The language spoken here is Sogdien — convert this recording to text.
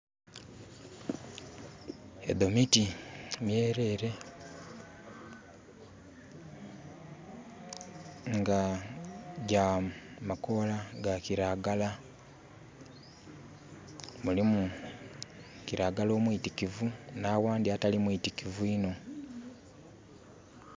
Edho miti myerere nga gya makoola ga kiragala. Mulimu kiragala omwitikivu na wandi atali mwitikivu inho